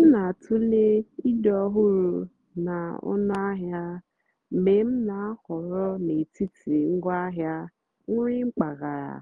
m nà-àtụ́lè ídì́ ọ́hụ́rụ́ nà ónúàhịá mgbe m nà-àhọ̀rọ́ n'étìtì ngwáàhịá nrì mpàgàrà